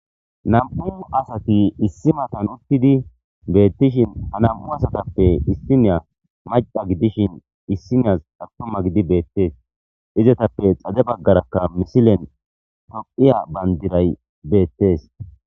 Nam'u asati issi matan uttidi beettishin anam'u asatappe issiniya maca gidishin issiniyas attuma gidi beettees izatappe xade baggarakka misilen toqiya bandiray beettees.